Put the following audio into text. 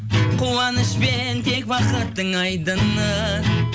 қуанышпен тек бақыттың айдыны